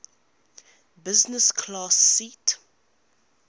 business class seat